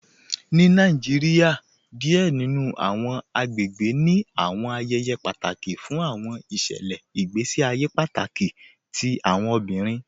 Ni Nàìjíríà, díẹ̀ nínu àwọn àgbègbè ní àwọn ayéyé pátákì fún àwọn ìṣẹlẹ̀ ìgbèsí àyè pátákì tí àwọn obìrín